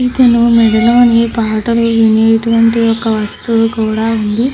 ఇతను మెడలోని పాటలు వినేటటువంటి ఒక వస్తువు కూడా ఉంది.